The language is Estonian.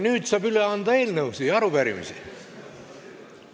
Nüüd saab üle anda eelnõusid ja arupärimisi.